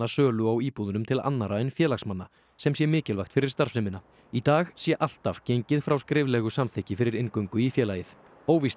sölu á íbúðunum til annarra en félagsmanna sem sé mikilvægt fyrir starfsemina í dag sé alltaf gengið frá skriflegu samþykki fyrir inngöngu í félagið óvíst